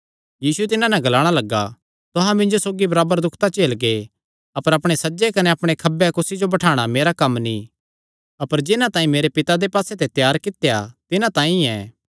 यीशु तिन्हां नैं ग्लाणा लग्गा तुहां मिन्जो सौगी बराबर दुख तां झेलगे अपर अपणे सज्जे कने अपणे खब्बे कुसी जो बठाणा मेरा कम्म नीं अपर जिन्हां तांई मेरे पिता दे पास्से ते त्यार कित्या तिन्हां तांई ऐ